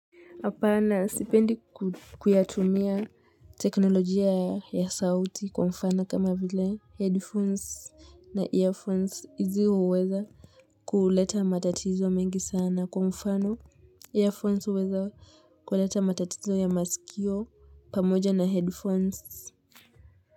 Hapana sipendi kuyatumia teknolojia ya sauti kwa mfano kama vile headphones na earphones hizi huweza kuleta matatizo mengi sana kwa mfano earphones huweza kuleta matatizo ya masikio pamoja na headphones.